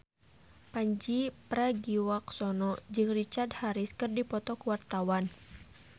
Pandji Pragiwaksono jeung Richard Harris keur dipoto ku wartawan